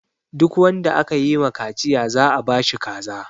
Duk wanda aka yi ma kaciya za a ba shi kaza.